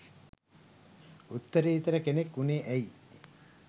උත්තරීතර කෙනෙක් වුනේ ඇයි?